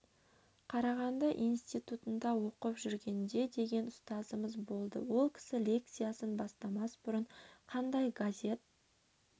қарағанды инситутында оқып жүргенде деген ұстазымыз болды ол кісі лекциясын бастамас бұрын қандай газет